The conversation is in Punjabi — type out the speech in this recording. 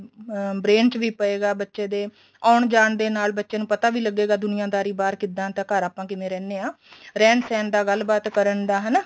ਅਹ brain ਚ ਪਏਗਾ ਬੱਚੇ ਦੇ ਆਉਣ ਜਾਣ ਦੇ ਨਾਲ ਬੱਚੇ ਨੂੰ ਪਤਾ ਵੀ ਲੱਗੇਗਾ ਦੁਨੀਆਦਾਰੀ ਬਾਹਰ ਕਿੱਦਾਂ ਤੇ ਘਰ ਆਪਾਂ ਕਿਵੇ ਰਹਿਨੇ ਆ ਰਹਿਣ ਸਹਿਣ ਦਾ ਗੱਲ ਬਾਤ ਕਰਨ ਦਾ ਹਨਾ